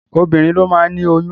Obinrin ló máa ni oyún.